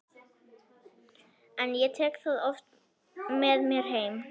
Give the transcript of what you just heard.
En ég tek það oft með mér heim.